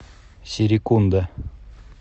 серекунда